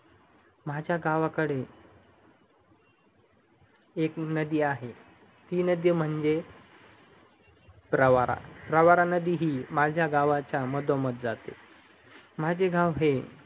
माझ्यागावकडे एक नदी आहे ते म्हणजे प्रवारा प्रवारा नदी ही माझा गावचा मधोमद जाते माझे गाव हे